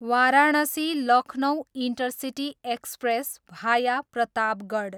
Varanasi, Lucknow intercity express, भाया प्रतापगढ